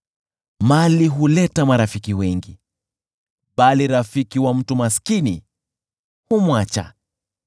Mali huleta marafiki wengi, bali rafiki wa mtu maskini humwacha.